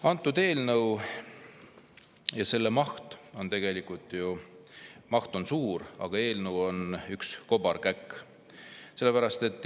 Antud eelnõu maht on ju suur, aga eelnõu ise on üks kobarkäkk.